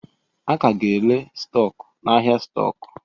A ka ga-ere stọkụ n'ahịa stọkụ.